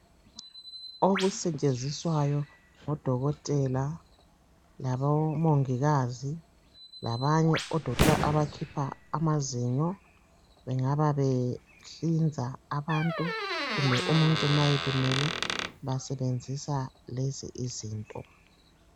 Okusetshenziswayo ngodokotela labomongikazi labanye odokotela abakhipha amazinyo, bengaba behlinza abantu kumbe umuntu ma elimele basebenzisa lezi izinto.